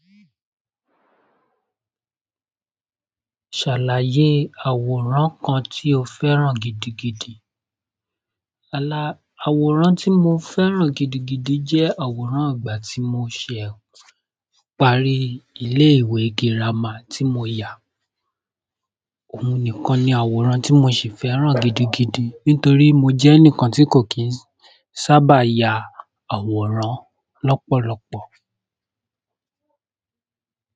Ṣàlàyé àwòrán kan tí o fẹ́ràn gidigidi. Àwòrán tí mo fẹ́ràn gidigidi jẹẹ àwòrán ìgbà tí mo sẹ parí ile-ife girama tí mo ya. Òun nìkan ni àwòrán tí mo sì fẹ́ràn gidigidi nítorí mo jẹ́ ẹnìkan tí kò kí ń sábà ya àwòrán lọ́pọ̀lọpọ̀.